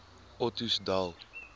ottosdal